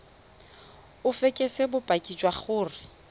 o fekese bopaki jwa gore